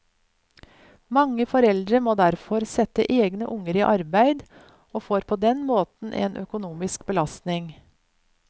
Mange foreldre må derfor sette egne unger i arbeid og får på den måten en økonomisk belastning.